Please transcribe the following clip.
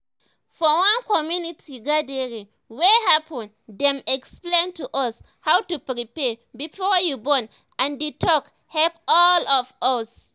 for one community gathering wey happen dem explain to us how to prepare before you born and the talk help all of us